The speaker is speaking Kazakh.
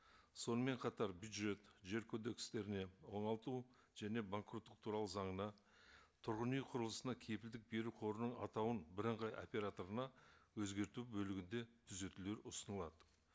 сонымен қатар бюджет жер кодекстеріне оңалту және банкроттық туралы заңына тұрғын үй құрылысына кепілдік беру қорының атауын бірыңғай операторына өзгерту бөлігінде түзетулер ұсынылады